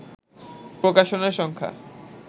প্রকাশনার সংখ্যা